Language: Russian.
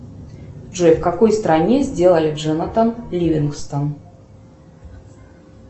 джой в какой стране сделали джонотан ливингстон